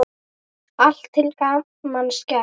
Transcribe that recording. Allt til gamans gert.